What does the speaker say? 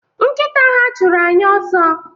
Nkịta ha chụrụ anyị ọsọ